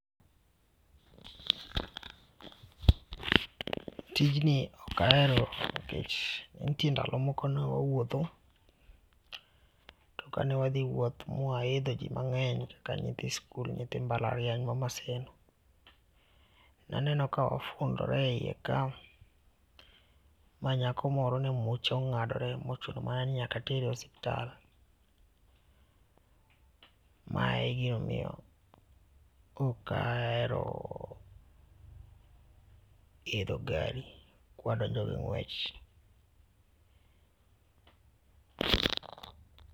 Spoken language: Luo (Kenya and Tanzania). Tijni ok ahero nikech nitie ndalo moko ne wawuotho. To kane wadhi wuoth ma waidho ji mang'eny ka nyithi skul nyithi mbalariany ma Maseno.,naneno ka wafundore e yie ka ma nyako moro ne muche ongadore ma ochuno mana ni nyaka otere osiptal. Ma e gima omiyo ok ahero idho gari kwadonjo gi ng'wech.